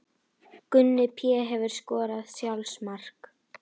Gunni Pé Hefurðu skorað sjálfsmark?